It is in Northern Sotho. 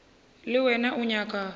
le wena o nyaka go